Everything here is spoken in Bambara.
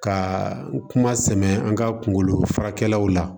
Ka kuma sɛmɛ an ka kungolo faralaw la